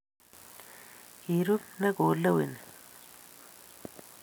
Kirub ne koleweni?